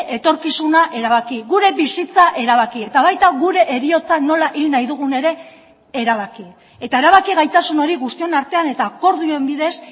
etorkizuna erabaki gure bizitza erabaki eta baita gure heriotza nola hil nahi dugun ere erabaki eta erabaki gaitasun hori guztion artean eta akordioen bidez